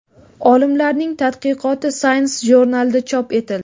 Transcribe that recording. Olimlarning tadqiqoti Science jurnalida chop etildi .